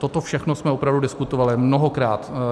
Toto všechno jsme opravdu diskutovali, mnohokrát.